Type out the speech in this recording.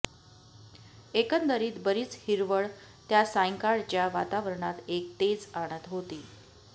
एकंदरीत बरीच हिरवळ त्या सांयकाळच्या वातावरणात एक तेज आणत होती